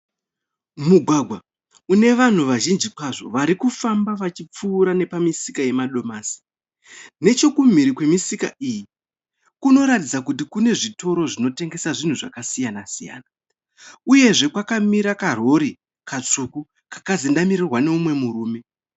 Mugwagwa une vanhu vazhinji kwazvo vari kufamba vachipfuura nepamisika yemadomasi. Nechekumhiri kwemisika iyi, kunoratidza kuti kune zvitoro zvinotengesa zvinhu zvakasiyana siyana uyezve kwakamira karori katsvuku kakazendamirwa nemumwe murume.